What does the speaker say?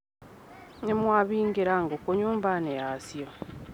Nĩmwahingĩra ngũkũ nyũmbainĩ yacio.